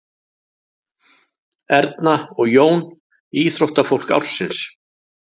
Erna og Jón íþróttafólk ársins